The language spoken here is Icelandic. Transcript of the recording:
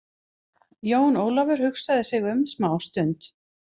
Jón Ólafur hugsaði sig um smá stund.